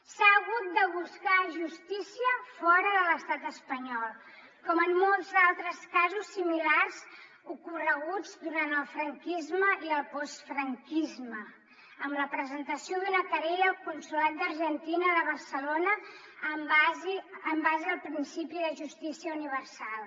s’ha hagut de buscar justícia fora de l’estat espanyol com en molts altres casos similars ocorreguts durant el franquisme i el postfranquisme amb la presentació d’una querella al consolat d’argentina de barcelona en base al principi de justícia universal